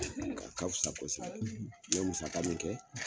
A ka fisa kosɛbɛ, n ye musaga min kɛ